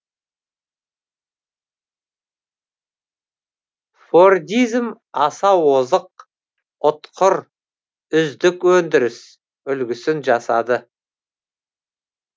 фордизм аса озық ұтқыр үздік өндіріс үлгісін жасады